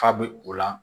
Fa bɛ o la